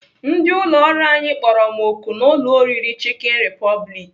Ndị ụlọọrụ anyị kpọrọ m oku n'ụlọ oriri Chicken Republic.